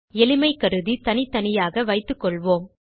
எளிமை கருதி தனித்தனியாக வைத்துக்கொள்வோம்